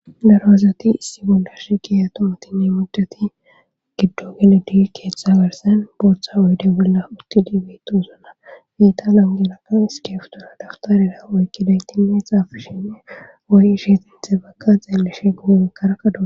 daro asati issi bollashi kiya tomatinne mudati giddo geledi keeththa bersen booththa oyde bolla utti diibetu usona fiita langelakan skeeftora dawtarera oykki daytinne xaafishinne woy isheexinthe bakka xeelleshe gumumakkara kadua